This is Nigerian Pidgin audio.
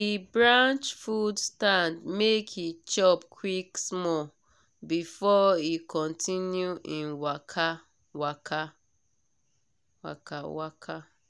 he branch food stand make he chop quick small before he continue him waka. waka.